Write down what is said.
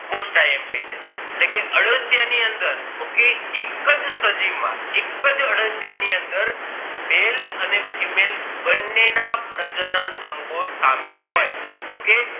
Most imp છે એટલે કે અળસિયા ની અંદર okay એક જ સજીવ માં એક અળસિયા ની અંદ male અને female બને ના પ્રજનન અંગો સામેલ હોય okay